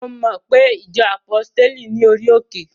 Mo mo pe ìjọ àpọ́stéli ní orí òkè?